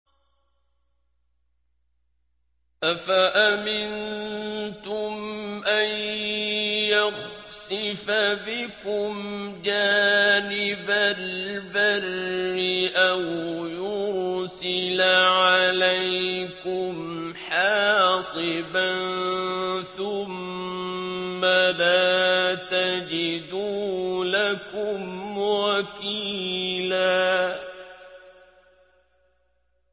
أَفَأَمِنتُمْ أَن يَخْسِفَ بِكُمْ جَانِبَ الْبَرِّ أَوْ يُرْسِلَ عَلَيْكُمْ حَاصِبًا ثُمَّ لَا تَجِدُوا لَكُمْ وَكِيلًا